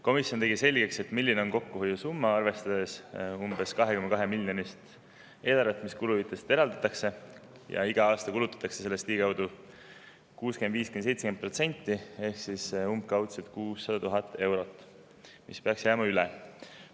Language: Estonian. Komisjon tegi selgeks, milline on kokkuhoiu summa, arvestades umbes 2,2-miljonilist eelarvet, mis kuluhüvitisteks eraldatakse, ja iga aasta kulutatakse sellest ligikaudu 65%–70% ning umbkaudu 600 000 eurot peaks jääma üle.